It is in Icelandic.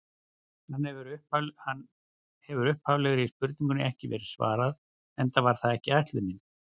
Hér hefur upphaflegri spurningu ekki verið svarað, enda var það ekki ætlunin.